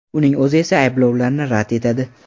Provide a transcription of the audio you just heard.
Uning o‘zi esa ayblovlarni rad etadi.